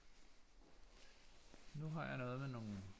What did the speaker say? Nu har jeg noget med nogle